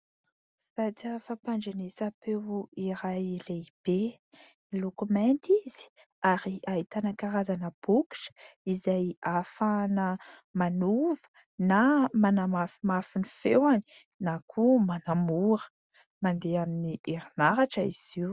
Vata fampandrenesam-peo iray lehibe, miloko mainty izy ary ahitana karazana bokotra izay ahafahana manova na manamafimafy ny feony na koa manamora, mandeha amin'ny herinaratra izy io.